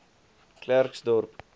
klerksdorp